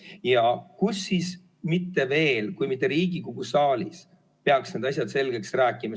Ja kus siis veel kui mitte Riigikogu saalis peaks need asjad selgeks rääkima.